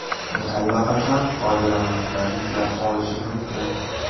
Uni allaqachon foydalanuvchilar yuklab olishi mumkin.